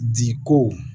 Diko